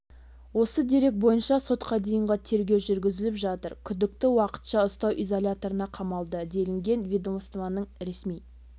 осы дерек бойынша сотқа дейінгі тергеу жүргізіліп жатыр күдікті уақытша ұстау изоляторына қамалды делінген ведомствоның ресми